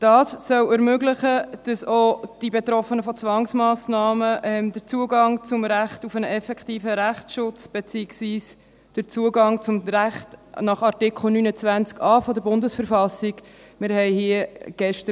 Das soll ermöglichen, dass auch von Zwangsmassnahmen Betroffene den Zugang zum Recht auf einen effektiven Rechtsschutz beziehungsweise den Zugang zum Recht nach Artikel 29a der Bundesverfassung der Schweizerischen Eidgenossenschaft (BV) haben.